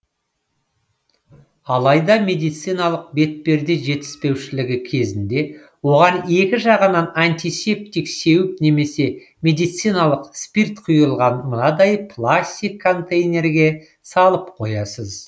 алайда медициналық бетперде жетіспеушілігі кезінде оған екі жағынан антисептик сеуіп немесе медициналық спирт құйылған мынадай пластик контейнерге салып қоясыз